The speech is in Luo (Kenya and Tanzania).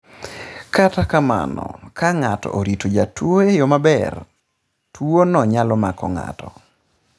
Kata kamano, kata ka ng'ato orito jatuo e yo maber, tuwono nyalo mako ng'ato.